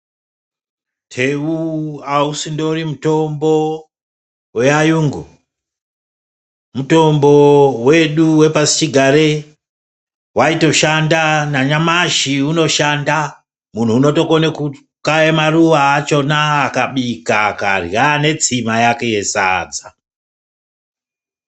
Teu ausindori mutombo weayungu. Mutombo wedu wepasichigare. Waitoshanda nanyamashi unoshanda. Muntu unotokone kukaya maruwa achona akabika akarya netsima yake yesadza.